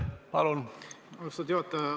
Aitäh, austatud juhataja!